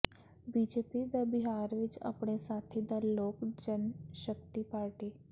BJP ਦਾ ਬਿਹਾਰ ਵਿਚ ਅਪਣੇ ਸਾਥੀ ਦਲ ਲੋਕ ਜਨਸ਼ਕਤੀ ਪਾਰਟੀ